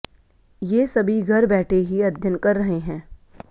ये सभी घर बैठे ही अध्ययन कर रहे हैं